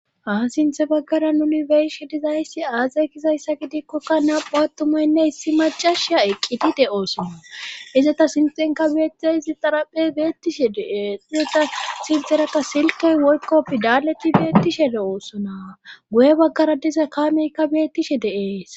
Ha sinthe baggara nuni beyishe dizayssi aazay gizayssa gidikkokka naa7hu attumaynne hissi macasha eqqidide oosona izata sinxenka beettiza izi xaraphey beettishe dee izeta silxerakka silkey woykkopfi daaleti beettishe de oosona guye baggara diza kaameykka beettishe de7ees.